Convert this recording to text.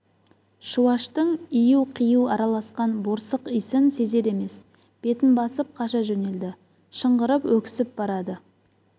шуаштың ию-қию араласқан борсық иісін сезер емес бетін басып қаша жөнелді шыңғырып өксіп барады